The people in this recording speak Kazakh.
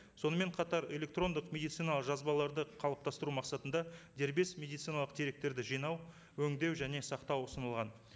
сонымен қатар электрондық медициналық жазбаларды қалыптастыру мақсатында дербес медициналық деректерді жинау өңдеу және сақтау ұсынылған